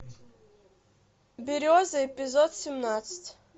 береза эпизод семнадцать